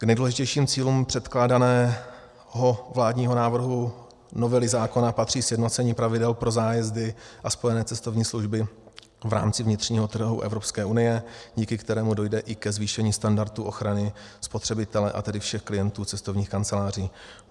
K nejdůležitějším cílům předkládaného vládního návrhu novely zákona patří sjednocení pravidel pro zájezdy a spojené cestovní služby v rámci vnitřního trhu Evropské unie, díky kterému dojde i ke zvýšení standardu ochrany spotřebitele, a tedy všech klientů cestovních kanceláří.